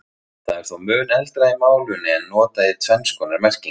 Það er þó mun eldra í málinu en notað í tvenns konar merkingu.